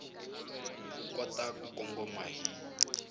u kota ku kongoma hi